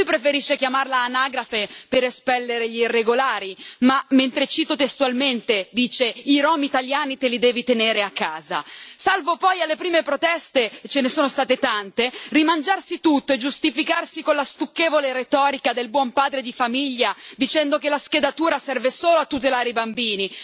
Lui preferisce chiamarla anagrafe per espellere gli irregolari ma mentre cito testualmente, dice i rom italiani te li devi tenere a casa, salvo poi alle prime proteste e ce ne sono state tante rimangiarsi tutto e giustificarsi con la stucchevole retorica del buon padre di famiglia, dicendo che la schedatura serve solo a tutelare i bambini.